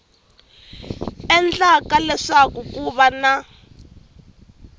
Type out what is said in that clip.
endlaka leswaku ku va na